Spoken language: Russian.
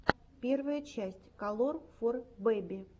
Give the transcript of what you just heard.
первая часть калор фор бэби